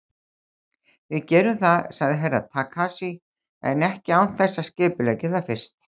Við gerum það, sagði Herra Takashi, en ekki án þess að skipuleggja það fyrst.